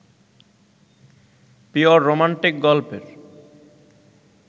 pure romantic গল্পের